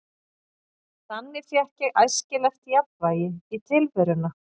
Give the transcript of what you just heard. Þannig fékk ég æskilegt jafnvægi í tilveruna.